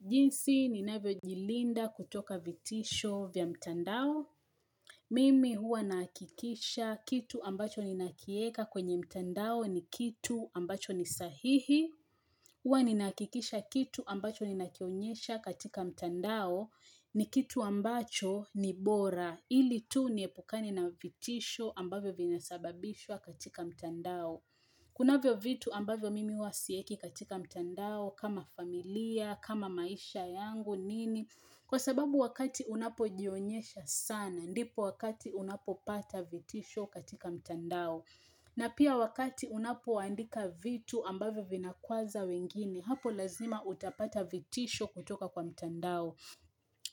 Jinsi ninavyo jilinda kutoka vitisho vya mtandao. Mimi huwa nahakikisha kitu ambacho ninakieka kwenye mtandao ni kitu ambacho ni sahihi. Huwa ninahakikisha kitu ambacho ninakionyesha katika mtandao ni kitu ambacho ni bora ili tu niepukani na vitisho ambavyo vinasababishwa katika mtandao. Kunavyo vitu ambavyo mimi huwa siweki katika mtandao, kama familia, kama maisha yangu, nini, kwa sababu wakati unapo jionyesha sana, ndipo wakati unapo pata vitisho katika mtandao. Na pia wakati unapo andika vitu ambavyo vinakuaza wengine, hapo lazima utapata vitisho kutoka kwa mtandao.